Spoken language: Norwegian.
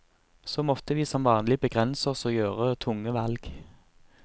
Så måtte vi som vanlig begrense oss og gjøre tunge valg.